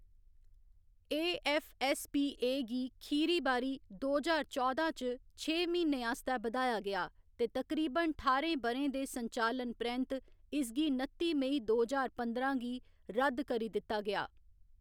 AFSPA. गी अखीरी बारी दो ज्हार चौदां च छे म्हीनें आस्तै बधाया गेआ ते तकरीबन ठाह्‌रें ब'रें दे संचालन परैंत्त इसगी नत्ती मई दो ज्हार पंदरां गी रद्द करी दित्ता गेआ।